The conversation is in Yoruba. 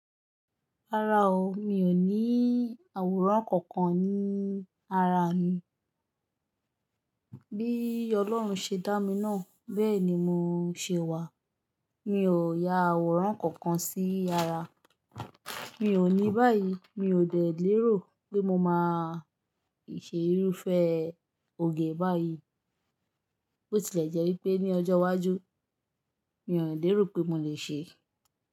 Rárá o, mi ò ní àwòrán kankan ní ara mi. Bí Ọlọ́run ṣe dá mi náà, bẹ́ẹ̀ ni mo ń ṣe wà. Mi ò ya àwòrán kankan sí ara. Mi ò ní báyìí, mi ò dẹ̀ lérò pé mo máa ṣe irúfẹ́ òge báyìí, bó tilẹ̀ jẹ́ pé ní ọjọ́ iwájú mi ò lè rò pé mo le ṣe.